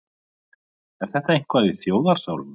Er þetta eitthvað í þjóðarsálinni?